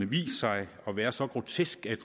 vist sig at være så grotesk at